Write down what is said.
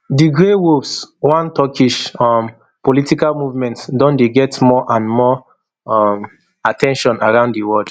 di grey wolves one turkish um political movement don dey get more and more um at ten tion around di world